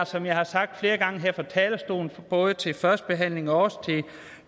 som jeg har sagt flere gange her fra talerstolen både til første behandling og også